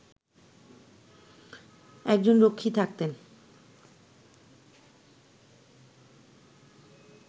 একজন রক্ষী থাকতেন